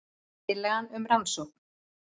Tillaga um rannsókn